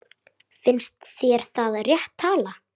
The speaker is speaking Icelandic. Finnst þér það rétt tala?